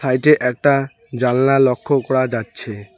এইটে একটা জানলা লক্ষ্য করা যাচ্ছে।